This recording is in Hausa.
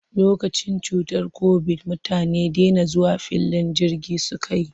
Lokacin cutar kobid, mutane dena zuwa filin jirgi suka yi.